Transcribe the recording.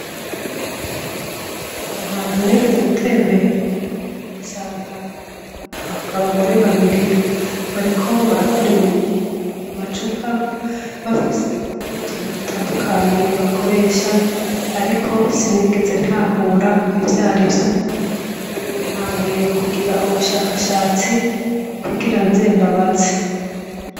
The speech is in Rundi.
Hari ahantu nigeze gutembera, nsanga abagore babiri bariko barakora ibintu mu macupa bafise n'utuntu dutandukanye bakoresha ariko sinigeze ntahura ivy'ari vyo. Ubu ntanguye kugira ubushakashatsi kugira nze mbabaze.